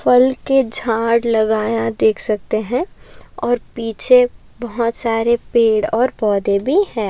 फल के झाड लगाया देख सकते है और पीछे बहुत सारे पेड़ और पोधे भी है।